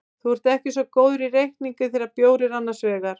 Þú ert ekki svo góður í reikningi þegar bjór er annars vegar.